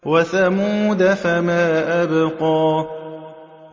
وَثَمُودَ فَمَا أَبْقَىٰ